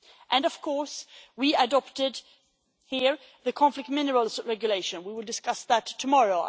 And of course, we adopted here the conflict minerals regulation we will discuss that tomorrow